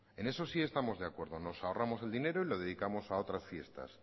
en eso sí estamos de acuerdo nos ahorramos el dinero y lo dedicamos a otras fiestas